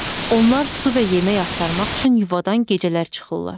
Onlar su və yemək axtarmaq üçün yuvadan gecələr çıxırlar.